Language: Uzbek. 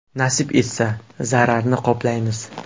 Nasib etsa, zararni qoplaymiz.